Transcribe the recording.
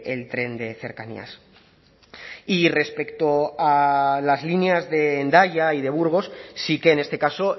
el tren de cercanías y respecto a las líneas de hendaya y de burgos sí que en este caso